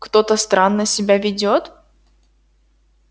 кто-то странно себя ведёт